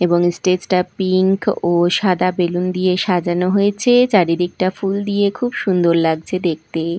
এবং স্টেজ -টা পিংক ও সাদা বেলুন দিয়ে সাজানো হয়েছে চারিদিকটা ফুল দিয়ে খুব সুন্দর লাগছে দেখতে।